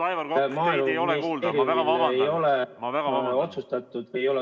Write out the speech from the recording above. Maaeluministeeriumil ei ole otsustatud või ei ole ......